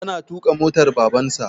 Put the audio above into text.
Yana tuƙa motar Babansa.